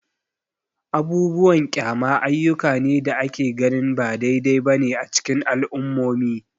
Abubuwan kyama ayyuka ne da ake ganin ba daidai ba ne a cikin al'ummomi.